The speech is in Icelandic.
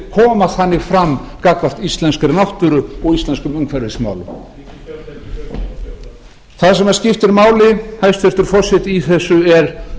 koma þannig fram gagnvart íslenskri náttúru og íslenskum umhverfismálum það sem skiptir máli hæstvirtur forseti í þessu er